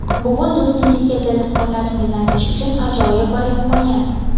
Bugun do‘stingizga dil izhorlaringizni aytish uchun ajoyib bir imkoniyat.